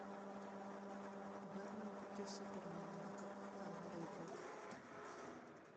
бэтмен против супермена на каком канале идет